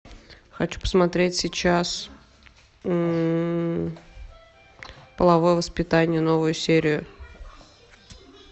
хочу посмотреть сейчас половое воспитание новую серию